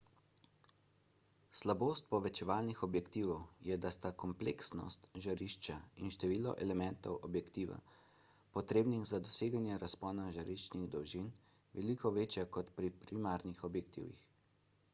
slabost povečevalnih objektivov je da sta kompleksnost žarišča in število elementov objektiva potrebnih za doseganje razpona žariščnih dolžin veliko večja kot pri primarnih objektivih